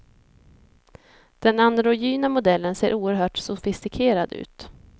Den androgyna modellen ser oerhört sofistikerad ut.